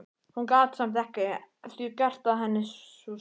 Hún gat samt ekki að því gert að henni sveið.